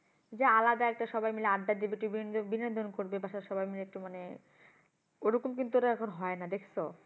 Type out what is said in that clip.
যে আলাদা একটা সবাই মিলে আড্ডা দিবে বিনোদন করবে বাসার সবাই মিলে একটু মানে, ওরকম কিন্তু আর এখন হয়না দেখসো?